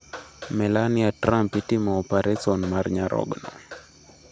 Melania Trump itimo opareson mar nyarogno